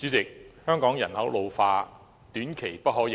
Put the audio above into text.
主席，香港人口老化，短期內不可逆轉。